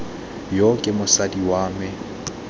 yo ke mosadi wa me